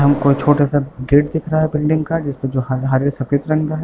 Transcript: हमको छोटा-सा गेट दिख रहा है बिल्डिंग का जिस पे जो हरे सफेद रंग का है।